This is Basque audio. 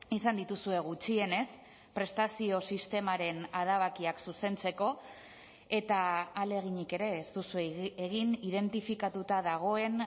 izan dituzue gutxienez prestazio sistemaren adabakiak zuzentzeko eta ahaleginik ere ez duzue egin identifikatuta dagoen